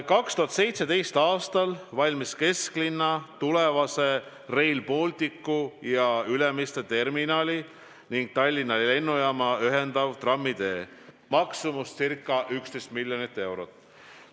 2017. aastal valmis kesklinna tulevast Rail Balticut ja Ülemiste terminali Tallinna lennujaamaga ühendav trammitee, maksumus ca 11 miljonit eurot.